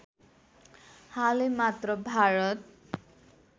हालै मात्र भारत